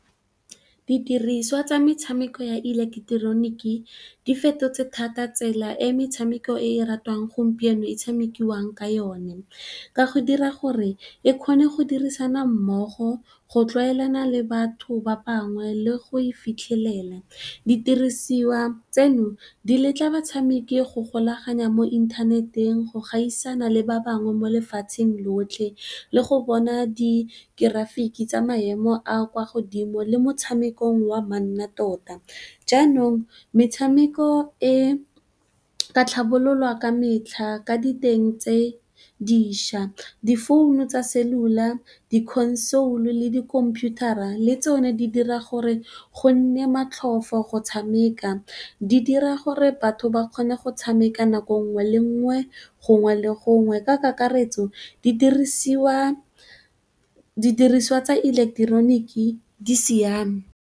Didiriswa tsa metshameko ya ileketeroniki di fetotse thata tsela e metshameko e ratiwang gompieno e tshamekiwang ka yone ka go dira gore e kgone go dirisana mmogo go tlwaelana le batho ba bangwe le go e fitlhelela. Di didirisiwa tseno di letla batshameki go golaganya mo inthaneteng go gaisana le ba bangwe mo lefatsheng lotlhe, le go bona di ke grafiki tsa maemo a kwa godimo le motshamekong wa manna tota. Jaanong, metshameko e ka tlhabololwa ka metlha ka diteng tse diša, difounu tsa cellular, di console le di khomputara le tsone di dira gore go nne matlhofo go tshameka, di dira gore batho ba kgone go tshameka nako nngwe le nngwe, gongwe le gongwe, ka kakaretso di dirisiwa tsa ileketeroniki di siame.